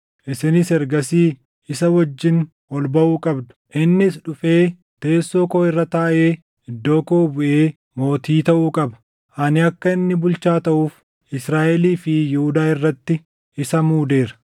Isinis ergasii isa wajjin ol baʼuu qabdu; innis dhufee teessoo koo irra taaʼee iddoo koo buʼee mootii taʼuu qaba. Ani akka inni bulchaa taʼuuf Israaʼelii fi Yihuudaa irratti isa muudeera.”